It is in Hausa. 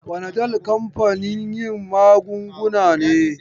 Fanadal kamfanin yin magunguna ne.